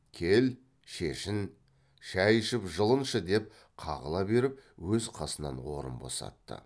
кел шешін шай ішіп жылыншы деп қағыла беріп өз қасынан орын босатты